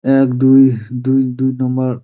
এক দুই দুই দু নম্বর ।